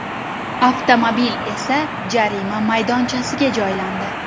Avtomobil esa jarima maydonchasiga joylandi.